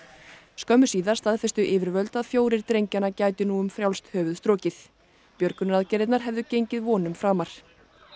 skömmu síðar staðfestu yfirvöld að fjórir drengjanna gætu nú um frjálst höfuð strokið björgunaraðgerðirnar hefðu gengið vonum framar